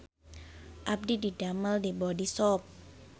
Abdi didamel di Bodyshop